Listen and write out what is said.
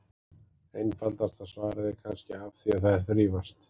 Einfaldasta svarið er kannski: Af því að þær þrífast!